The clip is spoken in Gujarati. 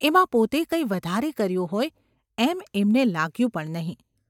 એમાં પોતે કંઈ વધારે કર્યું હોય એમ એમને લાગ્યું પણ નહિ.